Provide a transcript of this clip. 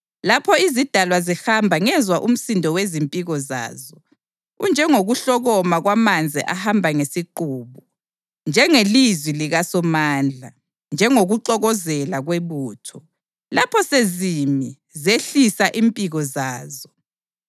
Lapho izidalwa zihamba ngezwa umsindo wezimpiko zazo, unjengokuhlokoma kwamanzi ahamba ngesiqubu, njengelizwi likaSomandla, njengokuxokozela kwebutho. Lapho sezimi, zehlisa impiko zazo.